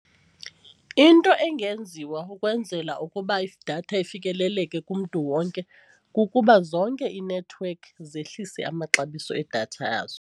Into engenziwa ukwenzela ukuba idatha ifikeleleke kumntu wonke kukuba zonke iinethiwekhi zehlise amaxabiso edatha yazo.